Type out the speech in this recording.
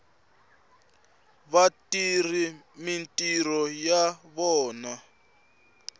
va tirha mintirho ya vona